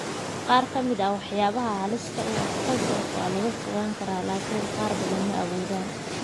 Qaar ka mid ah waxyaabaha halista u ah kansarka waa laga fogaan karaa, laakiin qaar badan ma awoodaan.